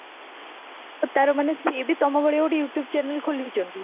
ତାର ମାନେ ସିଏବି ଆତ୍ମା ଭଳି ଗୋଟେ youtube channel ଖୋଲିଚନ୍ତି